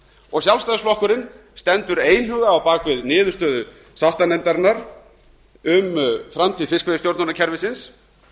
og sjálfstæðisflokkurinn stendur einhuga á bak við niðurstöðu sáttanefndarinnar um framtíð fiskveiðistjórnarkerfisins